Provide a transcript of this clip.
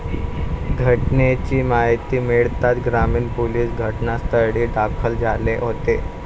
घटनेची माहिती मिळताच ग्रामीण पोलिस घटनास्थळी दाखल झाले होते.